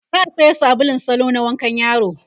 za'a Sayo sabulun salo na wankan yaro